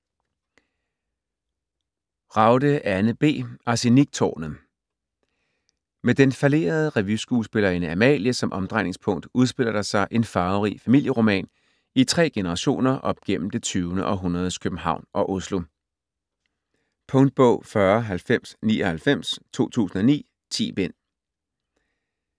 Ragde, Anne B.: Arseniktårnet Med den fallerede revyskuespillerinde Amalie som omdrejningspunkt udspiller der sig en farverig familieroman i tre generationer op gennem det tyvende århundredes København og Oslo. Punktbog 409099 2009. 10 bind.